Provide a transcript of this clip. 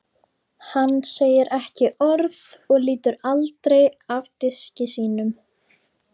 Hann segir ekki orð og lítur aldrei af diski sínum.